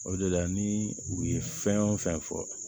O de la ni u ye fɛn o fɛn fɔ